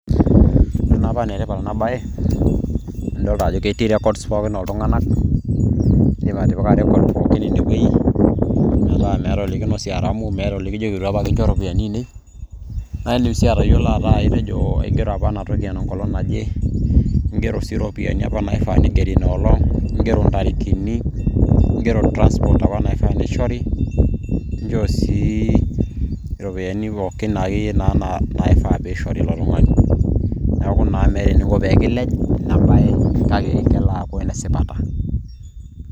ore naa paa enetipat ena bae, naa idoolta ajo ketii records pookin ooltunganak, idim atipika record pookin ine wueji. metaa meeta olikinosie aramu, meeta olikijoki eitu apa kincho iropiyiani aainei. naa idim sii atayiolo ajo, aigero apa ena toki enkolong' naje. igero sii iropiyiani apa naifaa, nigeri ina olong'.igero intarikini, igero transport apa naifaa nishori, inchoo sii iropiyiani pookin, akeyie naifaa pee ishori ilo tungani. neeku naa meeta eniko pee kilej ina bae. kake kelo aaku ene sipata.